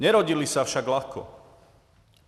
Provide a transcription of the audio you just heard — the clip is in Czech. Nerodily se však lehce.